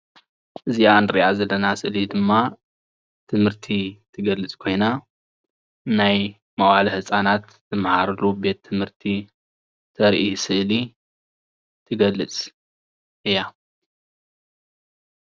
እዚኣ እንሪኣ ዘለና ስእሊ ድማ ትምህርቲ ትገልፅ ኮይና ናይ መዋእለ ህፃናት ዝመሃርሉ ቤት ትምህርቲ ዘርኢ ስእሊ ትገልፅ እያ፡፡